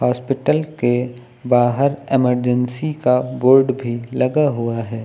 अस्पताल के बाहर इमरजेंसी का बोर्ड भी लगा हुआ है।